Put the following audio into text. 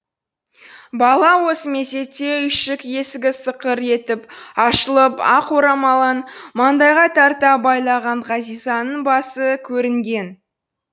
бала осы мезетте үйшік есігі сықыр етіп ашылып ақ орамалын маңдайға тарта байлаған ғазизаның басы көрінген